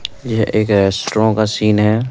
यह का एस्ट्रो का सीन हैं।